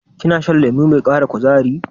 Kina shan lemo mai ƙara kuzari?